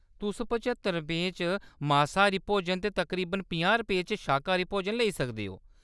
तुस पचत्तर रपेंऽ च मासाहारी भोजन ते तकरीबन पंजाह् रपेंऽ च शाकाहारी भोजन लेई सकदे ओ।